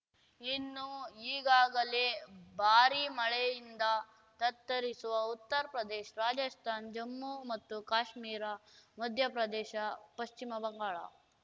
ಇನ್ನು ಈಗಾಗಲೇ ಭಾರೀ ಮಳೆಯಿಂದ ತತ್ತರಿಸಿವ ಉತ್ತರ್ ಪ್ರದೇಶ ರಾಜಸ್ಥಾನ ಜಮ್ಮು ಮತ್ತು ಕಾಶ್ಮೀರ ಮಧ್ಯಪ್ರದೇಶ ಪಶ್ಚಿಮ ಬಂಗಾಳ